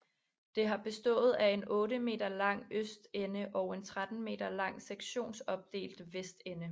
Det har bestået af en 8 m lang østende og en 13 m lang sektionsopdelt vestende